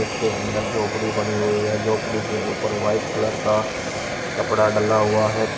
उसके अंदर झोपड़ी बनी हुई है झोपड़ी के ऊपर व्हाइट कलर का कपड़ा डला हुआ है पी--